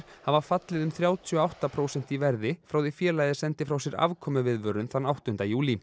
hafa fallið um þrjátíu og átta prósent í verði frá því félagið sendi frá sér afkomuviðvörun þann áttunda júlí